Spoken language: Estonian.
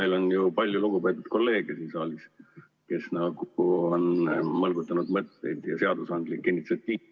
Meil on ju palju lugupeetud kolleege siin saalis, kes on mõlgutanud mõtteid ja seadusandlik initsiatiiv ...